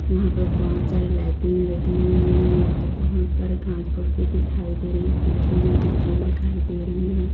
यहाँ पे बहुत सारी लाइटिंग लगी हुई है| यहाँ पे घांस-फूस दिखाई दे रहे हैं पीछे में बिल्डिंग दिखाई दे रही है।